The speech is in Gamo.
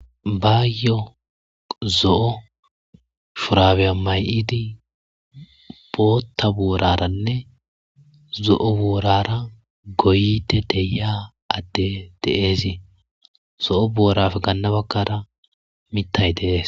bayyo zo7o shurabeya may7idi bootta buoraranne zo7o buorara goyde deyia adde dee'es zo7o booraf gannabakkara mittay de'ees